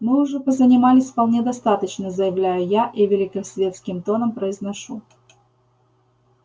мы уже позанимались вполне достаточно заявляю я и великосветским тоном произношу